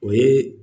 O ye